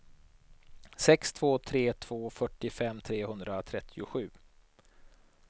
sex två tre två fyrtiofem trehundratrettiosju